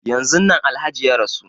Yanzun nan Alhaji ya rasu.